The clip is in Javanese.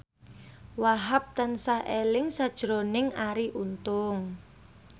Wahhab tansah eling sakjroning Arie Untung